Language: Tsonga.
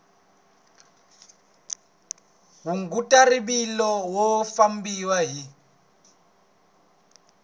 hunguta rivilo u famba hi